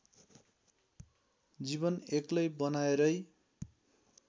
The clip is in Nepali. जीवन एक्लै बनाएरै